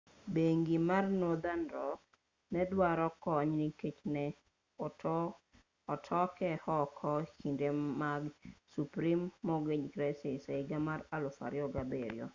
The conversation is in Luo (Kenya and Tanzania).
bengi mar nothern rock ne oduaro kony nikech ne otoke oko e kinde mag subprime mortgage crisis e higa mar 2007